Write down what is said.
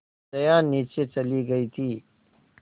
जया नीचे चली गई थी